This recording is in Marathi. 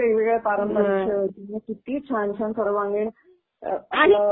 हो, खरच ग किती वेगवेगळे पारंपरिक खेळ किती छान छान सर्वांगीण